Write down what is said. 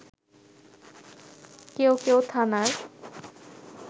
কেউ কেউ থানার